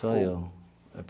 Só eu.